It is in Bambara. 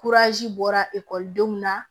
bɔra ekɔlidenw na